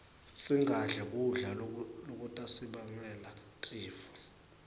singadli kudla lokutasibangela tifo